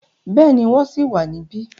Bẹ́ẹ̀ni, wọ́n ṣì wà níbẹ̀.